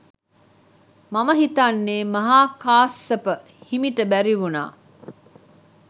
මම හිතන්නෙ මහා කස්සප හිමිට බැරිවුනා